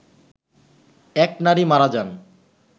এক নারী মারা যান